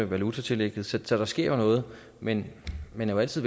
valutatillægget så der sker jo noget men man er jo altid